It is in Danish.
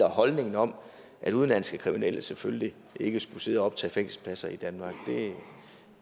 holdningen om at udenlandske kriminelle selvfølgelig ikke skulle sidde og optage fængselspladser i danmark kan